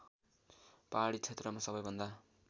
पहाडी क्षेत्रमा सबैभन्दा